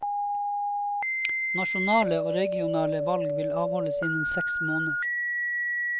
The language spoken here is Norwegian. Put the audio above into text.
Nasjonale og regionale valg vil avholdes innen seks måneder.